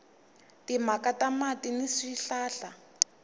timhaka ta mati ni swihlahla